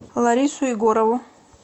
ларису егорову